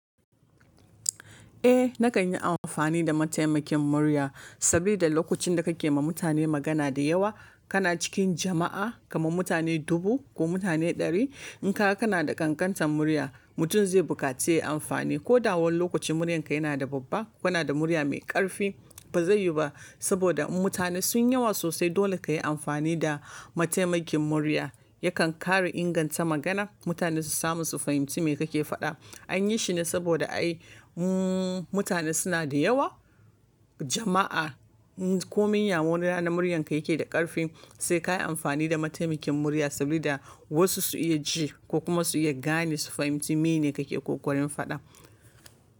Eh nakan yi amfani da mataimakin murya sabida lokacin da kake ma mutane magana da yawa, kana cikin jama'a kamar mutane dubu ko mutane ɗari. In kaga kana da ƙanƙantar murya, mutum zai bukaci yayi amfani ko da wani lokacin muryarka yana da babba, kana da murya mai ƙarfi ba zai yiwu ba saboda mutane sunyi yawa sosai. Dole ka yi amfani da mataimakin murya, yakan ƙara inganta magana mutane su samu su fahimci me kake faɗa. An yi shi ne saboda ai mutane suna da yawa, jama'a ko munya wani rana muryarka yake da ƙarfi sai ka yi amfani da mataimakin murya saboda wasu su iya ji ko kuma su iya gane su fahimci mene kake ƙoƙarin faɗa.